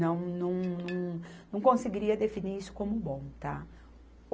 não, não, não, não conseguiria definir isso como bom, tá.